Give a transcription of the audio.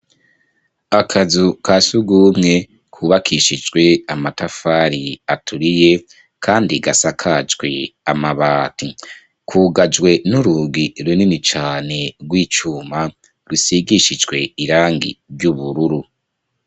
Akazu ka sugumwe kubakishijwe amatafari aturiye kandi gasakajwe amabati kugajwe n'urugi runini cane rw'icuma rusigishijwe irangi ry'ubururu.